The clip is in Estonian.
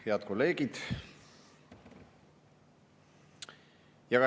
Head kolleegid!